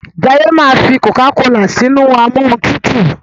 Jaiye ma fí cocacola sínú Amóhuntutù.